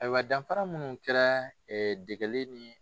Ayiwa danfara munnu kɛra dɛgɛli ni